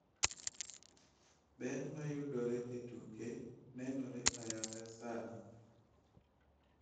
Ber ma yudore e tuke nenore ayanga sani